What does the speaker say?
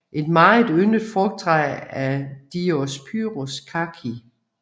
Et meget yndet frugttræ er Diospyros kaki